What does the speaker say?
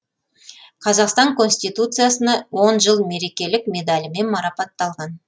қазақстан конституциясына он жыл мерекелік медалімен марапатталған